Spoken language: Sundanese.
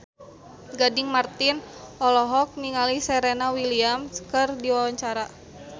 Gading Marten olohok ningali Serena Williams keur diwawancara